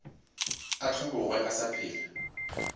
a hlobogwe a sa phela